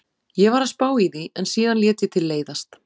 Ég var að spá í því en síðan lét ég til leiðast.